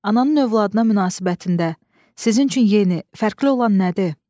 Ananın övladına münasibətində sizin üçün yeni, fərqli olan nədir?